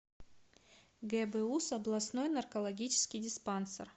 гбуз областной наркологический диспансер